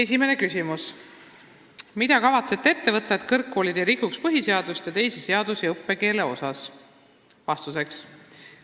Esimene küsimus: "Mida kavatsete ette võtta, et kõrgkoolid ei rikuks põhiseadust ja teisi seadusi õppekeele osas?